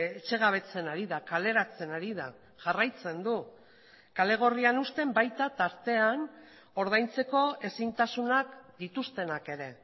etxegabetzen ari da kaleratzen ari da jarraitzen du kale gorrian uzten baita tartean ordaintzeko ezintasunak dituztenak ere